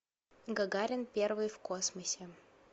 гагарин первый в космосе